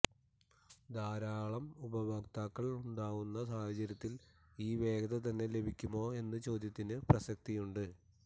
ധാരാളം ഉപയോക്താക്കൾ ഉണ്ടാവുന്ന സാഹചര്യത്തിൽ ഈ വേഗത തന്നെ ലഭിക്കുമോ എന്ന ചോദ്യത്തിന് പ്രസക്തിയുണ്ട്